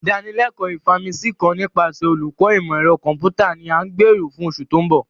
Idanileko Ifaminsi kan nipasẹ Oluko Imọ-ẹrọ Kọmputa ni a gbero fun oṣu to nbo.